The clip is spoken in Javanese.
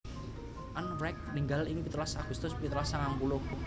Ann Wright ninggal ing pitulas Agustus pitulas sangang puluh